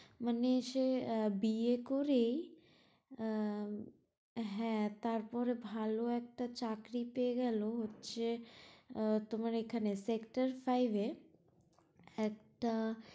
মানে সে আহ বি এ করেই আহ হ্যাঁ তারপর ভালো একটা চাকরি পেয়ে গেলো হচ্ছে আহ তোমার এখানে sector five এ একটা